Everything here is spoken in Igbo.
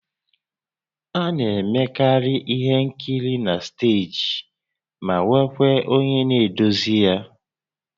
A na-emekarị ihe nkiri na steeji ma nwekwaa onye na-eduzi ya